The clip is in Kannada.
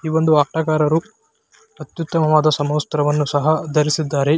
ಈ ಒಂದು ಆಟಗಾರರು ಅತ್ಯುತ್ತಮವಾದ ಸಮವಸ್ತ್ರವನ್ನು ಸಹ ಧರಿಸಿದ್ದಾರೆ.